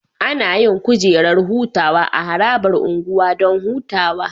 Anayin kujerar hutawa a harabar unguwa Dan hutawa